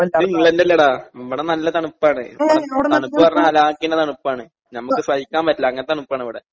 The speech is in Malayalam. ഇത് ഇംഗ്ലണ്ട് അല്ലെടാ ഇവിടെ നല്ല തണുപ്പാണ് തണുപ്പ്ന്നറഞ്ഞാ അലാക്കിന്റെ തണുപ്പാണ് ഞമ്മക്ക് സഹിക്കാൻ പറ്റില്ല അങ്ങൻത്തെ തണുപ്പാണിവടെ.